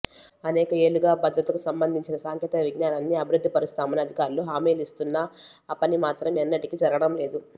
అనేక ఏళ్లుగా భద్రతకు సంబంధించిన సాంకేతిక విజ్ఞానాన్ని అభివృద్ధి పరుస్తామని అధికారులు హామీలిస్తున్నా ఆపనిమాత్రం ఎన్నటికీ జరగడం లేదు